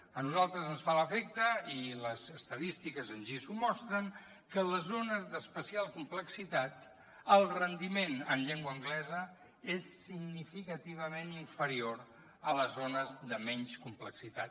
a nosaltres ens fa l’efecte i les estadístiques així ho mostren que a les zones d’especial complexitat el rendiment en llengua anglesa és significativament inferior a les zones de menys complexitat